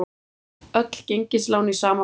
Öll gengislán í sama flokk